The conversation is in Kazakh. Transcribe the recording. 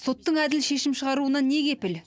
соттың әділ шешім шығаруына не кепіл